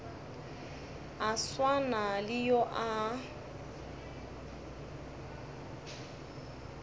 a swana le yo a